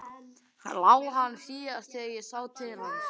LÁ HANN SÍÐAST ÞEGAR ÉG SÁ TIL HANS.